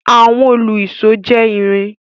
Àwọn òlu-ìsó jẹ́ irin.